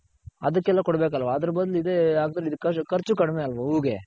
ಅದಕ್ಕೆಲ್ಲ ಕೋಡ್ ಬೇಕಲ್ವ ಅದರ್ ಬದ್ಲು ಇದೆ ಹಾಕದ್ರೆ ಖರ್ಚ್ ಕಡ್ಮೆ ಅಲ್ವ ಹೂಗೆ.